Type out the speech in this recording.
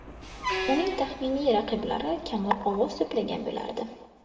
Uning taxminiy raqiblari kamroq ovoz to‘plagan bo‘lardi.